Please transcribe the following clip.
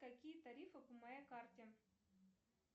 какие тарифы по моей карте